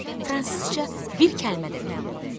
Fransızca bir kəlmə də bilmirdi.